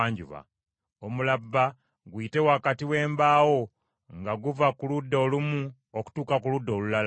Omulabba guyite wakati w’embaawo nga guva ku ludda olumu okutuuka ku ludda olulala.